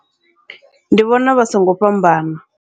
Ndi vhona vha songo fhambana.